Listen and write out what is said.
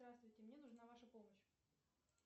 здравствуйте мне нужна ваша помощь